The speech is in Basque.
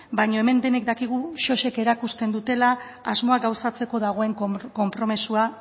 baino hemen denek dakigu sosik erakusten dutela asmoa gauzatzeko dagoen konpromisoa